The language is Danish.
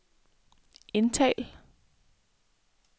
indtal